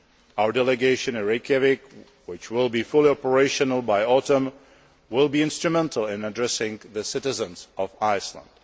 Our delegation in Reykjavik, which will be fully operational by autumn, will be instrumental in addressing the citizens of Iceland.